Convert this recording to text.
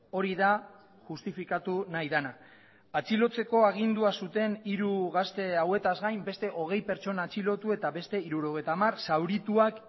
hori da justifikatu nahi dena atxilotzeko agindua zuten hiru gazte hauetaz gain beste hogei pertsona atxilotu eta beste hirurogeita hamar zaurituak